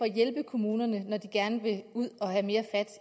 hjælpe kommunerne når de gerne vil ud at have mere fat